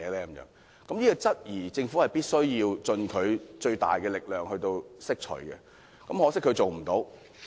對於這種質疑，政府必須盡其最大力量來釋除疑慮，很可惜，他做不到。